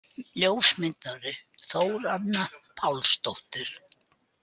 Ljósmyndari: Þóranna Pálsdóttir.